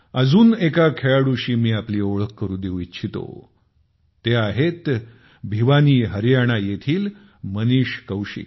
अजून एका खेळाडूशी मी आपली ओळख करून देऊ इच्छितो ते आहेत भिवानी हरियाणा येथील मनीष कौशिक